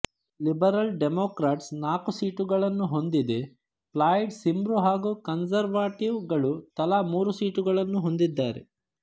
Liberal democrats ನಾಲ್ಕು ಸೀಟುಗಳನ್ನು ಹೊಂದಿದೆ ಪ್ಲಾಯಿಡ್ ಸಿಮ್ರು ಹಾಗು ಕನ್ಸರ್ವಟಿವ್ ಗಳು ತಲಾ ಮೂರು ಸೀಟುಗಳನ್ನು ಹೊಂದಿದ್ದಾರೆ